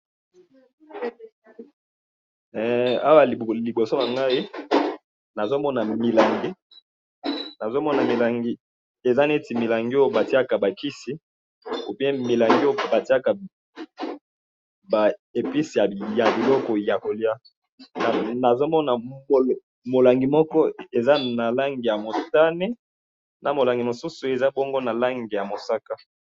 Awa liboso na ngayi, nazomona milangi, nazomona milangi eza neti milangi Oyo batiaka ba kisi ou bien milangi Oyo batiaka ba épices ya biloko ya kolia. Nazomona molangi Moko eza na langi ya motane, na molangi mosusu eza bongo na langi ya mosaka.